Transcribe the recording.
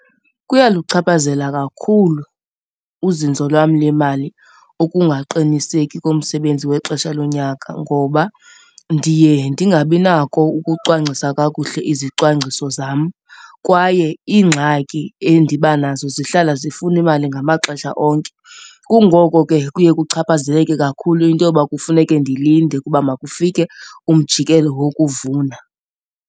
Kuyaluchaphazela kakhulu uzinzo lwam lemali ukungaqiniseki komsebenzi wexesha lonyaka ngoba ndiye ndingabinako ukucwangcisa kakuhle izicwangciso zam kwaye iingxaki endibanazo zihlala zifuna imali ngamaxesha onke. Kungoko ke kuye kuchaphazeleke kakhulu into yoba kufuneke ndilinde ukuba makufike umjikelo wokuvuna.